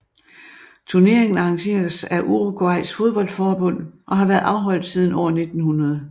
Turneringen arrangeres af Uruguays fodboldforbund og har været afholdt siden år 1900